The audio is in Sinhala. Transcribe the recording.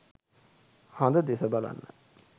හඳ දෙස බලන්න.